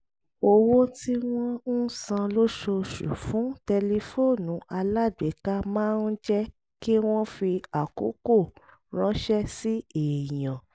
owó tí wọ́n ń san lóṣooṣù fún tẹlifóònù alágbèéká máa ń jẹ́ kí wọ́n fi àkókò ránṣẹ́ sí èèyàn